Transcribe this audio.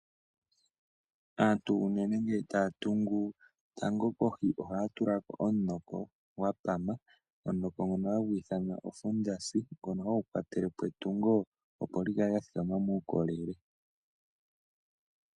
Aantu ngele taya tungu, tango kohi ohaya tula ko omunoko gwa pama, omunoko nhononhagu ithanwa osondasi ngono hagu kwatele po etungo opo li kale lya thikama muukolele.